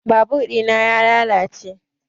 Babur ɗina ya lalace